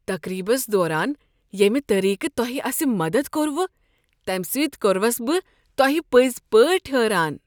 تقریبس دوران یمہ طریقہٕ تۄہہ اسہ مدد كوروٕ، تمہِ سٕتۍ كوٚروس بہٕ تۄہہِ پٕزۍ پٲٹھۍ حٲران۔